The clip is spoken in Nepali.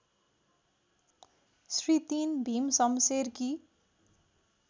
श्री ३ भीमशमशेरकी